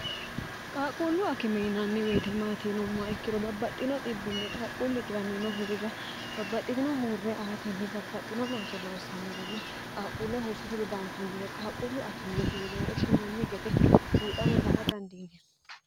qaaquullu akimeinanni weetimaatiinommaa ikkiro babbaxxino bbinni qaaquulli 1irmiino huurrira babbaxxitino huurre aatinni babbaxxino looso loossannorenna qaaquulle huursate dodantannore qaaquullu akimeeti ine woshshinanni gede buuxawi la a dandiiyiro